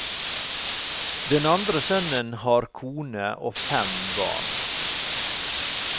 Den andre sønnen har kone og fem barn.